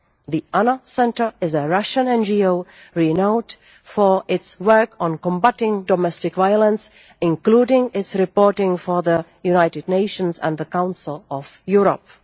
The ANNA Centre is a Russian NGO renowned for its work on combatting domestic violence, including its reporting for the United Nations and the Council of Europe.